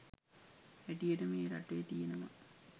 හැටියට මේ රටේ තියෙනවා.